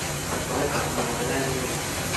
Zdaj pa smo na zeleni veji.